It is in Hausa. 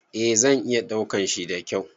Eh zan iya daukan shi da kyau